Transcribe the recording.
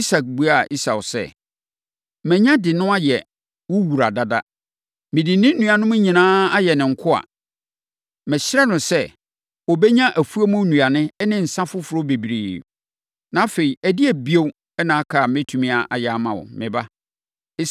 Isak buaa Esau sɛ, “Manya de no ayɛ wo wura dada. Mede ne nuanom nyinaa ayɛ ne nkoa. Mahyira no sɛ, ɔbɛnya afuom nnuane ne nsã foforɔ bebree. Na afei, ɛdeɛn bio na aka a mɛtumi ayɛ ama wo, me ba?”